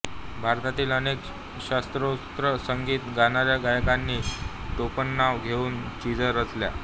भारतातील अनेक शास्त्रोक्त संगीत गाणाऱ्या गायकांनी टोपणनाव घेऊन चिजा रचल्या